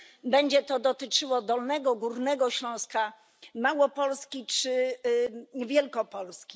Będzie to dotyczyło Dolnego i Górnego Śląska, Małopolski czy Wielkopolski.